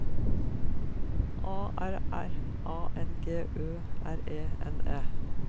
A R R A N G Ø R E N E